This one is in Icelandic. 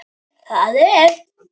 Það er eitt.